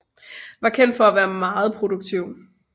Var kendt for at være meget produktiv